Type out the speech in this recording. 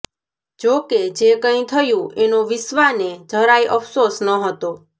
જોકે જે કંઈ થયું એનો વિશ્વાને જરાય અફસોસ નહોતો